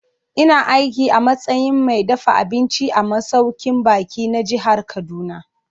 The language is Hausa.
Ina aiki a matsayin mai dafa abinci a masaukin baƙi na jihar Kaduna.